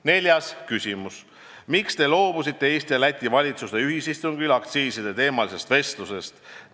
Neljas küsimus: "Miks te loobusite Eesti ja Läti valitsuste ühisistungil aktsiiside teemalisest vestlusest?